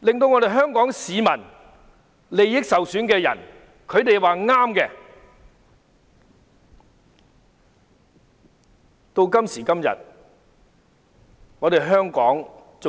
他們說令香港市民利益受損的人是正確的。